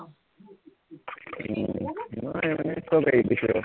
মই মানে মানে সৱ এৰি দিছো আৰু